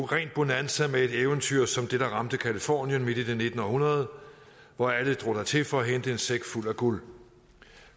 rent bonanza med et eventyr som det der ramte californien midt i det nittende århundrede hvor alle drog dertil for at hente en sæk fuld af guld